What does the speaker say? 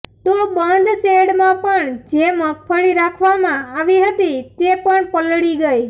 તો બંધ શેડમાં પણ જે મગફળી રાખવામાં આવી હતી તે પણ પલળી ગઈ